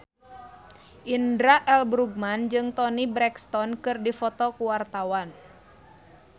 Indra L. Bruggman jeung Toni Brexton keur dipoto ku wartawan